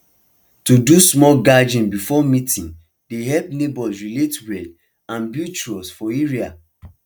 to do small gathering before main meeting dey help neighbors relate well and build trust for area